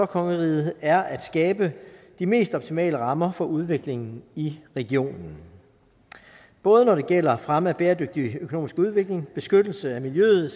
kongeriget er at skabe de mest optimale rammer for udviklingen i regionen både når det gælder fremme af bæredygtig økonomisk udvikling og beskyttelse af miljøet